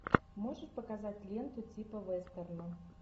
можешь показать ленту типа вестерна